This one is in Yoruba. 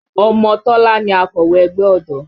Ọmọ Tọ́lá ni akọ̀wé ẹgbẹ́ ọ̀dọ́